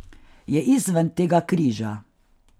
Je izven tega križa.